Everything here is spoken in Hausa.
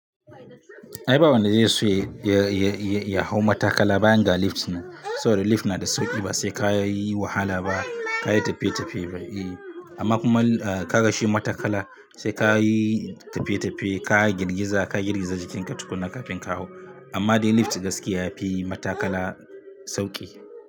Ai ba wanda zai so ya hau matakala ba yanga lift nan. Saboda lift na da sauƙi ba sai ka yi wahala ba, ka yi tafiye-tafiye ba. Amma kuma ka ga shi matakala sai ka yi tafiye-tafiye, ka girgiza, ka girgiza jikinka tukuna kafin ka hau. Amma dai lift gaskiya yafi matakala sauƙi.